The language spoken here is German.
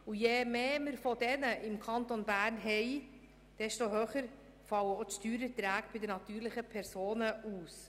Je mehr Unternehmungen wir im Kanton Bern haben, desto höher fallen auch die Steuererträge bei den natürlichen Personen aus.